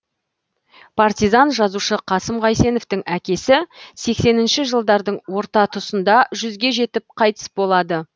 партизан жазушы қасым қайсеновтің әкесі сексенінші жылдардың орта тұсында жүзге жетіп қайтыс болады